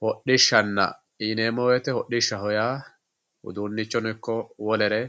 Hodishshanna yineemmo woyte ,hodhishsha yaa uduunichono ikko wolere